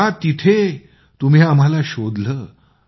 त्या तिथे तुम्ही आम्हांला शोधलं